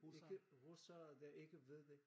Ikke russere der ikke ved det